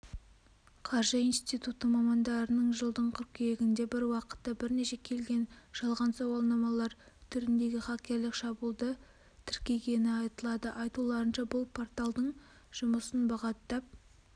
қаржы институты мамандарының жылдың қыркүйегінде бір уақытта бірнеше келген жалған сауалнамалар түріндегі хакерлік шабуылды тіркегені айтылады айтуларынша бұл порталдың жұмысын бұғаттап